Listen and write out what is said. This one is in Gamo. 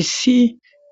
Issi